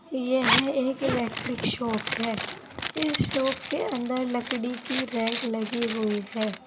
यह एक electric shop है इस शॉप के अंदर लकड़ी की रैंक लगी हुई है।